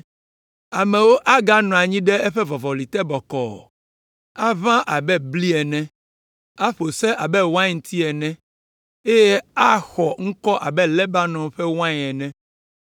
Amewo aganɔ anyi ɖe eƒe vɔvɔli te bɔkɔɔ, aʋã abe bli ene, aƒo se abe wainti ene, eye axɔ ŋkɔ abe Lebanon ƒe wain ene.